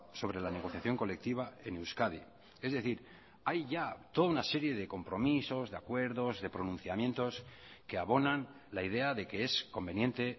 sobre la negociación colectiva en euskadi es decir hay ya toda una serie de compromisos de acuerdos de pronunciamientos que abonan la idea de que es conveniente